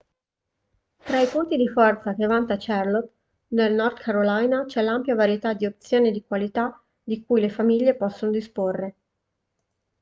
tra i punti di forza che vanta charlotte nel north carolina c'è l'ampia varietà di opzioni di qualità di cui le famiglie possono disporre